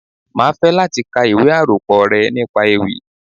Máa fẹ́ láti ka ìwé àkópọ̀ rẹ nípa ewì.